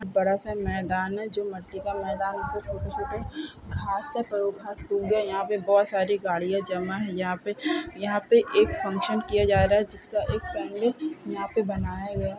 बड़ा सा मैदान है जो मट्टी का मैदान कुछ छोटे-छोटे घास है पर वो घास सूख गए यहाँ पे बहुत सारी गाड़ियां जमा है यहाँ पे यहाँ पे एक फंक्शन किया जा रहा है जिसका एक पेंट यहाँ पे बनाया गया है।